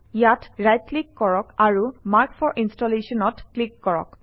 ইয়াত right click কৰক আৰু মাৰ্ক ফৰ Installation অত ক্লিক কৰক